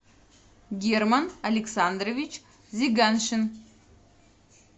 герман александрович зиганшин